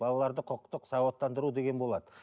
балаларды құқықтық сауаттандыру деген болады